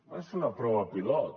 va ser una prova pilot